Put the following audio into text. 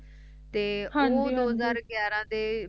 ਤੇ ਹਾਂਜੀ ਊ ਦੋ ਹਜ਼ਾਰ ਗਾਯਾਰਹ ਦੇ